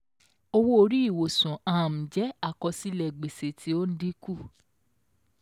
Owó-orí ìwòsàn um jẹ́ àkọọ́lẹ̀ gbèsè tí ó dínkù.